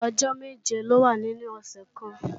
Ọjọ́ méje ló wà nínú ọ̀sẹ̀ kan